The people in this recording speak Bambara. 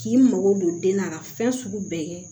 K'i mago don den na ka fɛn sugu bɛɛ kɛ